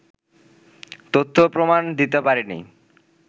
তথ্য-প্রমাণ দিতে পারেনি